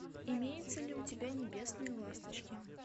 имеется ли у тебя небесные ласточки